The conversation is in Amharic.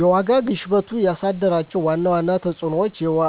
የዋጋ ግሽበቱ ያሳደራቸው ዋና ዋና ተፅዕኖዎችና